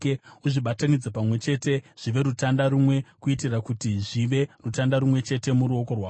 Uzvibatanidze pamwe chete zvive rutanda rumwe kuitira kuti zvive rutanda rumwe chete muruoko rwako.